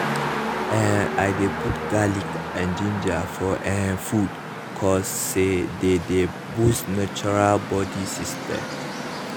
eh i dey put garlic and ginger for ehh food cause say dey dey boost natural body system.